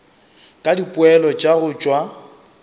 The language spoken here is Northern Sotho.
ka dipoelo tša go tšwa